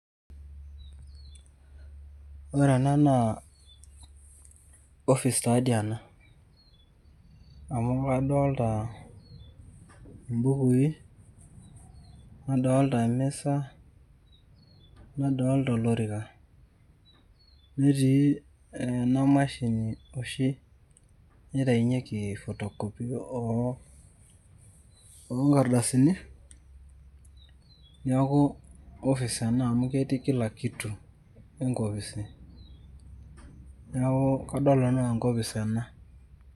Ore ena naa, ofis taa di ena. Amu kadolta ibukui, nadolta emisa, nadolta olorika. Netii ena mashini oshi naitainyeki photocopy onkardasini, neeku ofis ena amu ketii kila kitu enkopis. Neeku kadolta nanu enaa enkopis ena.